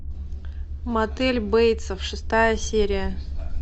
мотель бейтсов шестая серия